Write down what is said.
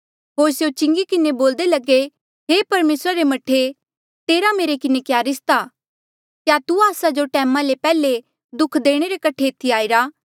होर स्यों चिंगी किन्हें बोल्दे लगे हे परमेसरा रे मह्ठे तेरा मेरे किन्हें क्या रिस्ता क्या तू आस्सा जो टैमा ले पैहले दुःख देणे रे कठे एथी आईरा